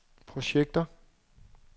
projekter